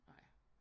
Nej